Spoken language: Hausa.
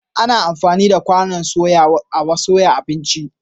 Ana amfani da kwanon soya a soya abinci.